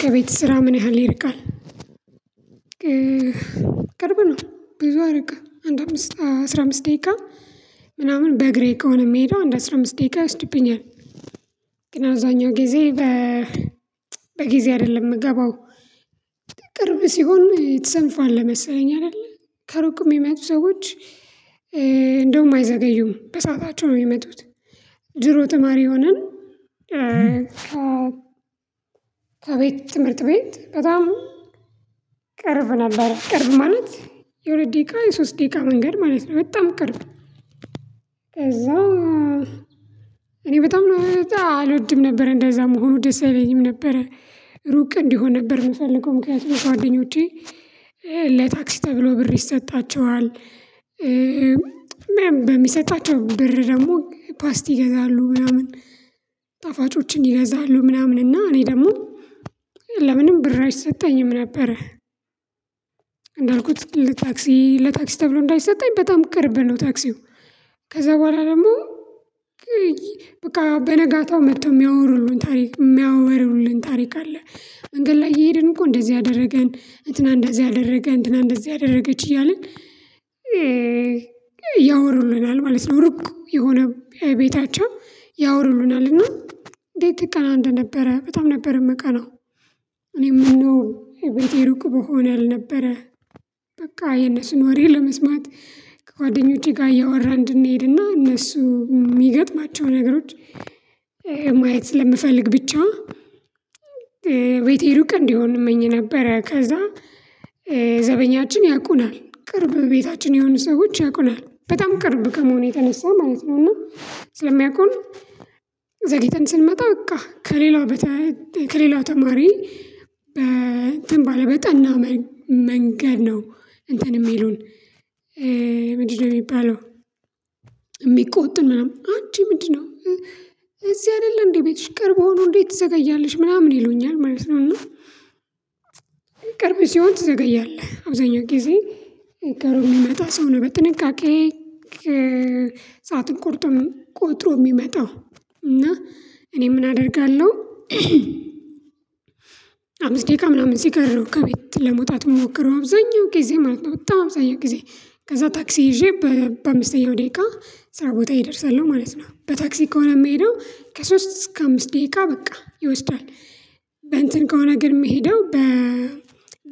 ከቤት ስራህ ምን ያህል ይርቃል? ቅርብ ነው ብዙ አይርቅም አንድ አምስት አስራ አምስት ደቂቃ ምናምን በእግሬ ከሆነ የምሄደው አንድ አስራ አምስት ደቂቃ ይወስድብኛል። ግን አዛኛው ጊዜ በጊዜ አይደለም የምገባው። ቅርብ ሲሆን ትሰንፈለህ መሰለኝ አይደለ ከሩቅ የሚመጡ ሰዎች እንደውም አይዘገዩም በሰአታቸው ነው የሚመጡት። ድሮ ተማሪ ሆነን ከቤት ትምህርት ቤት በጣም ቀርብ ነበር ቀርብ ማለት የሁለት ደቂቃ የሶስት ደቂቃ መንገድ ማለት ነው በጣም ቅርብ። ከዛ እኔ በጣም ነው አልወድም ነበር እንደዛ መሆኑ ደስ አይለኝም ነበር። ሩቅ እንዲሆን ነበር የምፈልገው ምክንያቱም ጓደኞቼ ለታክሲ ተብሎ ብር ይሰጣቸዋል። በሚሰጣቸው ብር ደግሞ ፓስቲ ይገዛሉ ምናምን ጣፋጮችን ይገዛሉ ምናምን እና እኔ ደግሞ ለምንም ብር አይሰጠኝም ነበረ። እንዳልኩት ለታክሲ ተብሎ እንዳይሰጠኝ በጣም ቅርብ ነው። ታክሲው ከዛ በኋላ ደግሞ በቃ በነጋታው መጥተው የሚያወሩልን ታሪክ የሚያወሩልን ታሪክ አለ። መንገድ ላይ እየሄድን እኮ እንደዚህ አደረገን እንትና እንደዚህ አደረገ እንትና እንደዚህ አደረገች እያልን ያወሩልናል ማለት ነው። ሩቅ የሆነ ቤታቸው ያወሩሉናል እና እንዴት ትቀና እንደነበረ በጣም ነበር የምቀነው። እኔ ምነው የቤቴ ሩቅ በሆነ አልነበረ። በቃ የነሱን ወሬ ለመስማት ከጓደኞቼ ጋር እያወራ እንድንሄድና እነሱ የሚገጥማቸው ነገሮች ማየት ስለምፈልግ ብቻ ቤቴ ሩቅ እንዲሆን እመኝ ነበረ። ከዛ ዘበኛችን ያቁናል ቅርብ ቤታችን የሆኑ ሰዎች ያቁናል በጣም ቅርብ ከመሆኑ የተነሳ ማለት ነው። እና ስለሚያውቀው ዘግይተን ስንመጣ በቃ ከሌላው ተማሪ በእንትን በጠና መንገድ ነው እንትን የሚሉን። ምንድነው የሚባለው የሚቆጡን ምናምን አንቺ ምንድነው እዚህ አይደለም እንዴ ቤትሽ ቅርብ ሆኖ እንዴት ትዘጋያለሽ ምናምን ይሉኛል ማለት ነው። እና ቅርብ ሲሆን ትዘገያለህ አብዛኛው ጊዜ ቅርብ የሚመጣ ሰው ነው በጥንቃቄ ሰዓትን ቆጥሮ የሚመጣው እና እኔም አደርጋለሁ። አምስት ደቂቃ ምናምን ሲቀረው ከቤት ለመውጣት ሞክረው አብዛኛው ጊዜ ማለት ነው በጣም አብዛኛው ጊዜ ከዛ ታክሲ ይዤ በአምስተኛው ደቂቃ ስራ ቦታ ይደርሳል ነው ማለት ነው። በታክሲ ከሆነ የምሄደው ከሶስት እስከ አምስት ደቂቃ በቃ ይወስዳል። በእንትን ከሆነ ግን የምሄደው በ